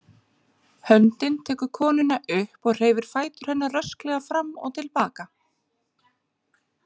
Höndin tekur konuna upp og hreyfir fætur hennar rösklega fram og til baka.